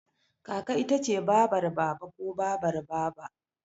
Kaka ita ce babar Baba ko Babar Baba.